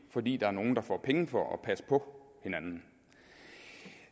fordi der er nogle der får penge for at passe på hinanden